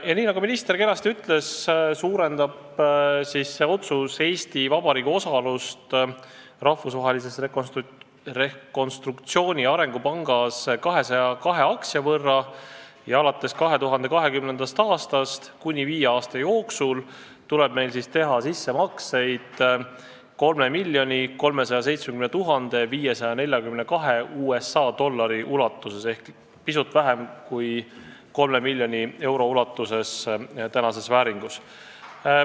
Nii nagu minister kenasti ütles, see otsus suurendab Eesti Vabariigi osalust Rahvusvahelises Rekonstruktsiooni- ja Arengupangas 202 aktsia võrra ja alates 2020. aastast tuleb meil kuni viie aasta jooksul teha sissemakseid 3 370 542 USA dollari ulatuses ehk pisut vähem kui 3 miljonit eurot tänases vääringus.